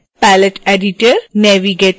palette editor